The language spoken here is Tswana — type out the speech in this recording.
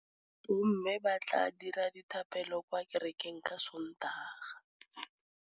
Bommê ba tla dira dithapêlô kwa kerekeng ka Sontaga.